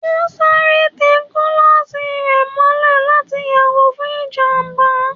O sárè te kulosí rẹ mòlè latí yagò fún ijamba